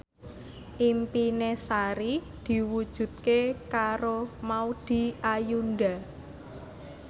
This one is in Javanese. impine Sari diwujudke karo Maudy Ayunda